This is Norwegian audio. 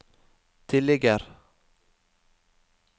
tilligger